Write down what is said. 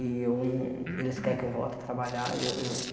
E eu não eles querem que eu volte a trabalhar. E eh eu